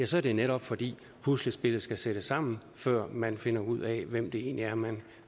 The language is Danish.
så er det netop fordi puslespillet skal sættes sammen før man finder ud af hvem det egentlig er man